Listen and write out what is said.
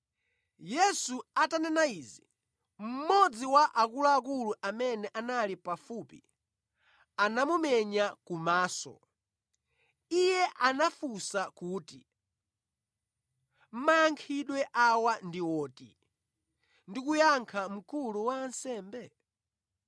Yesu atanena izi, mmodzi wa akuluakulu amene anali pafupi anamumenya kumaso. Iye anafunsa kuti, “Mayankhidwe awa ndi woti ndi kuyankha mkulu wa ansembe?”